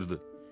qışqırdı.